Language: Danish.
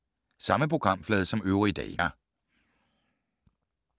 Samme programflade som øvrige dage